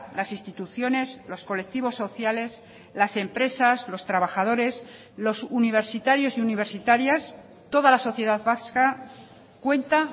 las instituciones los colectivos sociales las empresas los trabajadores los universitarios y universitarias toda la sociedad vasca cuenta